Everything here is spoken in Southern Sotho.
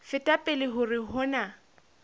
feta pele hore ho na